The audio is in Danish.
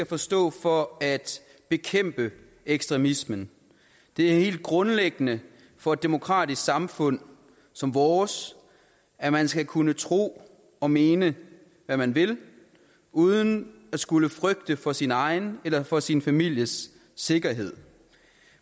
forstå for at bekæmpe ekstremisme det er helt grundlæggende for et demokratisk samfund som vores at man skal kunne tro og mene hvad man vil uden at skulle frygte for sin egen eller for sin families sikkerhed